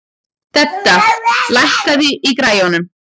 Dedda, lækkaðu í græjunum.